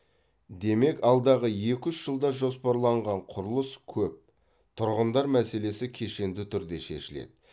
демек алдағы екі үш жылда жоспарланған құрылыс көп тұрғындар мәселесі кешенді түрде шешіледі